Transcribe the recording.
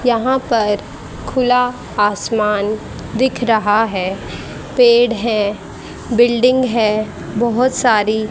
यहां पर खुला आसमान दिख रहा है पेड़ है बिल्डिंग है बहोत सारी--